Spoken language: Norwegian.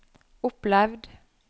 opplevd